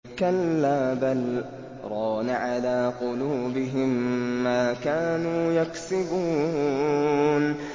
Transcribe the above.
كَلَّا ۖ بَلْ ۜ رَانَ عَلَىٰ قُلُوبِهِم مَّا كَانُوا يَكْسِبُونَ